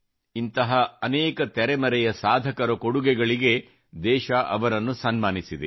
ಇಂಥ ಅನೇಕ ತೆರೆಮರೆಯ ಸಾಧಕರ ಕೊಡುಗೆಗಳಿಗೆ ದೇಶ ಅವರನ್ನು ಸನ್ಮಾನಿಸಿದೆ